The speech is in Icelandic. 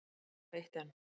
Og eitt enn.